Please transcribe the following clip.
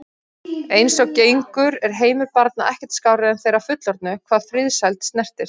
Eins og gengur er heimur barna ekkert skárri en þeirra fullorðnu hvað friðsæld snertir.